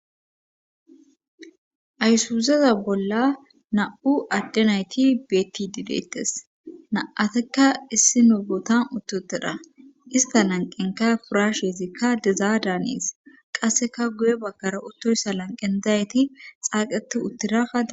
Ayusuuzeza bolla na7u addenayti beetti dideettes na7atekka issi nuugotan uttuteda ista lanqenka furasheezikka dezaa daanees qasseka guye bakkara uttoyssa lanqen dayyti xaaqetu uttiraka